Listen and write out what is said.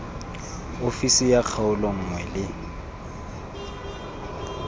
ofisi ya kgaolo nngwe le